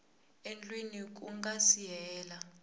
endliwa ku nga si hela